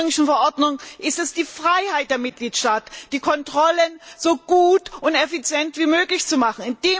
In der ursprünglichen Verordnung ist es die Freiheit der Mitgliedstaaten, die Kontrollen so gut und effizient wie möglich durchzuführen.